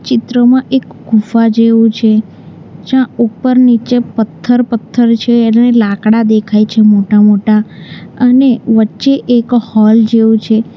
ચિત્રમાં એક ગુફા જેવું છે જ્યાં ઉપર નીચે પથ્થર પથ્થર છે લાકડા દેખાય છે મોટા મોટા અને વચ્ચે એક હોલ જેવું છે.